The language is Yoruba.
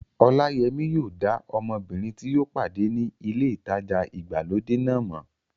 Ọláyẹmí yóò dá ọmọbìnrin tí ó pàdé ní ilé ìtajà ìgbàlódé náà mọ̀